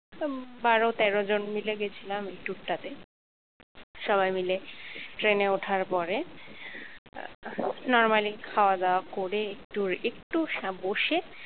তা বারো তেরো জন মিলে গেছিলাম এই tour টাতে সবাই মিলে ট্রেনে ওঠার পরে normally খাওয়া-দাওয়া করে একটু একটু বসে